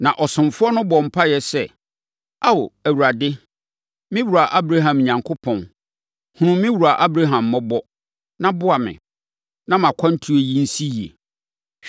Na ɔsomfoɔ no bɔɔ mpaeɛ sɛ, “Ao, Awurade, me wura Abraham Onyankopɔn, hunu me wura Abraham mmɔbɔ, na boa me, na mʼakwantuo yi nsi yie.